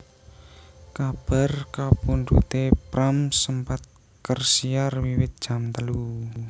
Kabar kapundhuté Pram sempat kersiar wiwit jam telu